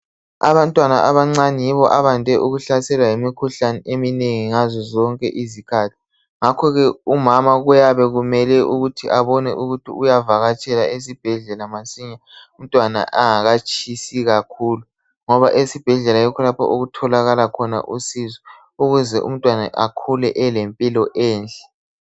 Abantwana abancane yibo abande ukuhlaselwa yimikhuhlane eminengi ngazo zonke izikhathi. Ngakho ke umama kuyabe kumele ukuthi abone ukuthi uyavakatshela esibhedlela masinya, umntwana angakatshisi kakhulu ngoba esibhedlela yikho lapho okutholakala khona usizo ukuze umntwana akhule elempilo enhle